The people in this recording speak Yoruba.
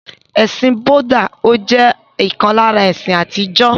Ẹ̀sìn Búdà jẹ́ ọ̀kan lára àwọn ẹ̀sìn àtijọ́.